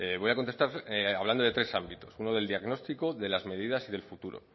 voy a contestar hablando de tres ámbitos uno del diagnóstico de las medidas y del futuro